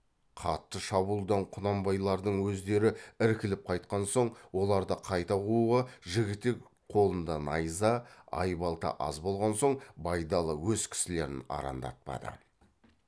қатты шабуылдан құнанбайлардың өздері іркіліп қайтқан соң оларды қайта қууға жігітек қолында найза айбалта аз болған соң байдалы өз кісілерін арандатпады